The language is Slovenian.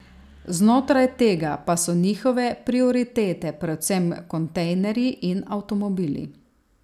Znotraj tega pa so njihove prioritete predvsem kontejnerji in avtomobili.